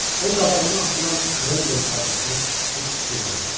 O qabağına atılan krendel parçasına heç fikir vermədi.